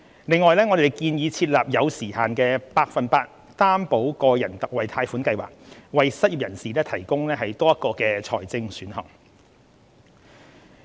另外，我們建議設立有時限的百分百擔保個人特惠貸款計劃，為失業人士提供多一個財政選項。